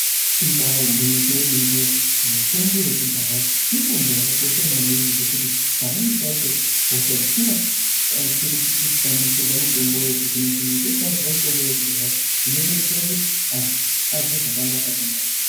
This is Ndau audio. Ibari gwinyiso yemene, mitombo yekudhaya mitombo yakakosha maningi zvekuti pamweni pacho hosha dzisingabatsiriki kushandisirwa mitombo yemazuwano dzinoshandisirwa mitombo yekudhaya inodetsera kuti antu azwe zvakanaka.